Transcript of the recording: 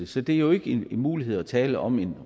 så det er jo ikke en mulighed at tale om